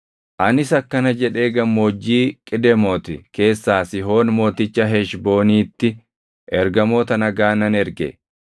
Anis akkana jedhee gammoojjii Qidemooti keessaa Sihoon mooticha Heshbooniitti ergamoota nagaa nan erge;